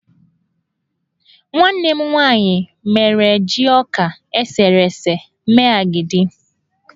Nwanne m nwaanyị mere ji ọka esere ese mee agidi.